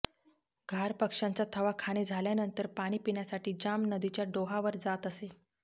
घार पक्षांचा थवा खाणे झाल्यानंतर पाणी पिण्यासाठी जांब नदीच्या डोहावर जात असे